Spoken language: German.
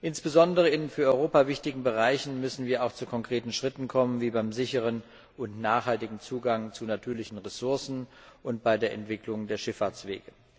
Insbesondere in für Europa wichtigen Bereichen müssen wir auch zu konkreten Schritten kommen, wie beim sicheren und nachhaltigen Zugang zu natürlichen Ressourcen und bei der Entwicklung der Schifffahrtswege.